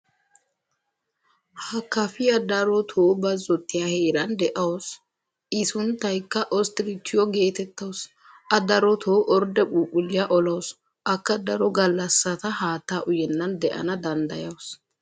ha Kafiya daroto bazotiya heeran de'awusu. Mmi sunttayakka ostrichchiyo geetettawusu. a darotoo orde phuuphuliya olawusu. akka daro galassata haattaa uyennan de'ana dandayawusu.